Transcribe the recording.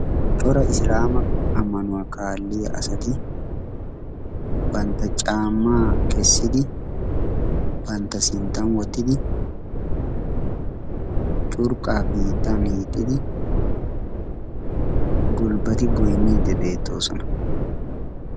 Cora islaama ammanuwaa kaalliya asati bantta caamaa kessidi pantta sinttan wottidi curqqaa biittan hiixxidi gulbbati goyniidi beettoosona.